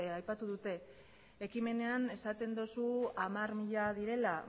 aipatu dute ekimenean esaten duzu hamar mila direla